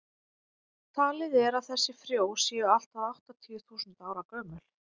talið er að þessi frjó séu allt að áttatíu þúsund ára gömul